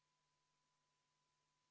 Hääletamise lõppemisest annan märku helisignaaliga.